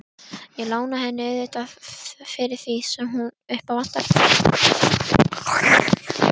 Ég lána henni auðvitað fyrir því sem upp á vantar.